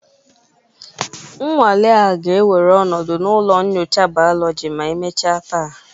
Nnwale a ga-ewere ọnọdụ na ụlọ nyocha Biology ma emechaa taa